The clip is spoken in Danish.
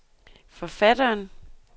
forfatteren